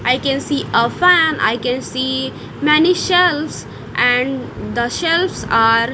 I can see a fan I can see many shelves and the shelves are--